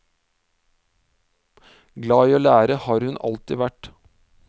Glad i å lære har hun alltid vært.